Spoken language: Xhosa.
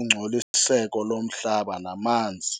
ungcoliseko lomhlaba namanzi.